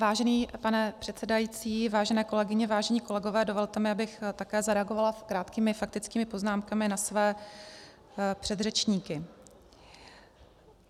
Vážený pane předsedající, vážené kolegyně, vážení kolegové, dovolte mi, abych také zareagovala krátkými faktickými poznámkami na své předřečníky.